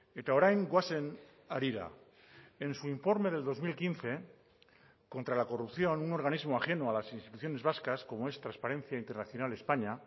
eta orain goazen harira en su informe del dos mil quince contra la corrupción un organismo ajeno a las instituciones vascas como es transparencia internacional españa